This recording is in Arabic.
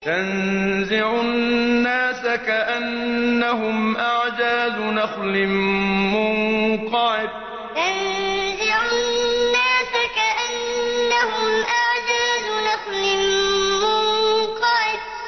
تَنزِعُ النَّاسَ كَأَنَّهُمْ أَعْجَازُ نَخْلٍ مُّنقَعِرٍ تَنزِعُ النَّاسَ كَأَنَّهُمْ أَعْجَازُ نَخْلٍ مُّنقَعِرٍ